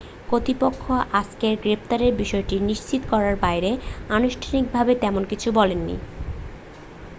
কর্তৃপক্ষ আজকের গ্রেপ্তারের বিষয়টি নিশ্চিত করার বাইরে আনুষ্ঠানিকভাবে তেমন কিছু বলেনি